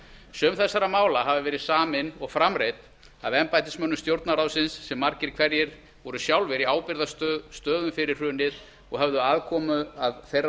sum þessara mála hafa verið samin og framreidd af embættismönnum stjórnarráðsins sem margir hverjir voru sjálfir í ábyrgðarstöðum fyrir hrunið og höfðu aðkomu að þeirra